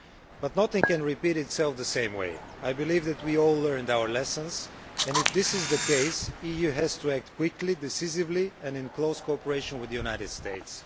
But nothing can repeat itself in the same way. I believe that we all learned our lessons, and if this is the case the EU has to act quickly and decisively and in close cooperation with the United States.